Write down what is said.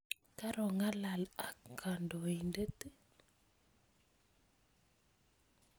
Karongalal ak kodoin'det i?